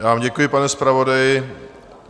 Já vám děkuji, pane zpravodaji.